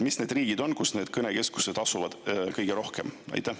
Mis need riigid on, kus need kõnekeskused kõige rohkem asuvad?